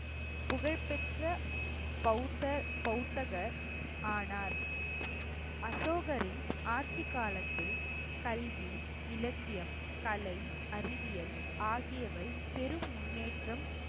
புகழ்பெற்ற பௌத்த~ பௌத்தர் ஆனார். அசோகரின் ஆட்சிக்காலத்தில் கல்வி, இலக்கியம், கலை, அறிவியல் ஆகியவை பெரும் முன்னேற்றம்